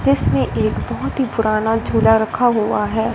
जिसमें एक बहोत ही पुराना झूला रखा हुआ है।